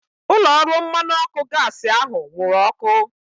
Ụlọ ọrụ mmanụ ọkụ gaasi ahu nwụrụ ọkụ